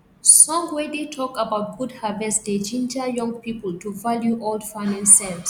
song wey dey talk about good harvest dey ginger young people to value old farming sense